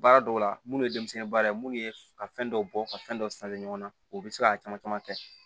Baara dɔw la munnu ye denmisɛnnin baara ye munnu ye ka fɛn dɔ bɔ ka fɛn dɔ ɲɔgɔn na u bi se ka caman caman kɛ